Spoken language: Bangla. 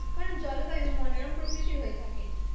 কারণ জলবায়ু মনোরম প্রকৃতির হয়ে থাকে